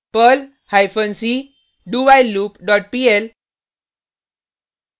perl hyphen c dowhileloop dot pl